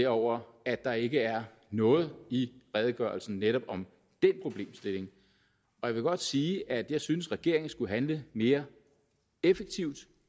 over at der ikke er noget i redegørelsen netop om den problemstilling jeg vil godt sige at jeg synes at regeringen skulle handle mere effektivt